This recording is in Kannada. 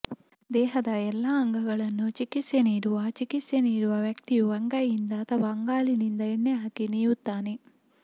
ದೇಹದ ಎಲ್ಲಾ ಅಂಗಗಳನ್ನು ಚಿಕಿತ್ಸೆ ನೀಡುವ ಚಿಕಿತ್ಸೆ ನೀಡುವ ವ್ಯಕ್ತಿಯು ಅಂಗೈಯಿಂದ ಅಥವಾ ಅಂಗಾಲಿನಿಂದ ಎಣ್ಣೆ ಹಾಕಿ ನೀವುತ್ತಾನೆ